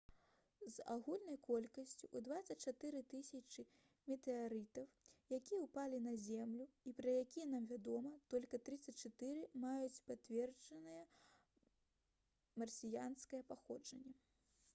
з агульнай колькасці ў 24 000 метэарытаў якія ўпалі на зямлю і пра якія нам вядома толькі 34 маюць пацверджанае марсіянскае паходжанне